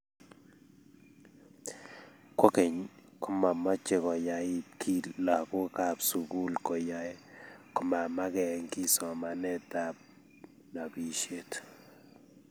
kogeny, komamache koyait kiiy lagookab sugul koyae komamage kiiy somanetab nobishet